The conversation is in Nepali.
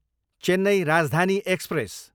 चेन्नई राजधानी एक्सप्रेस